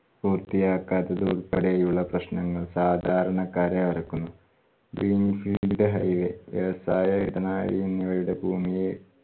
പൂർത്തിയാക്കാത്തത് ഉൾപ്പെടെയുള്ള പ്രശ്നങ്ങൾ സാധാരണക്കാരെ ഒരക്കുന്നു. ന്റെ highway വ്യവസായ ഇടനാഴിങ്ങളുടെ ഭൂമിയെ